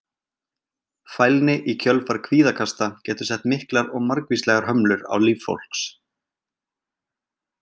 Fælni í kjölfar kvíðakasta getur sett miklar og margvíslegar hömlur á líf fólks.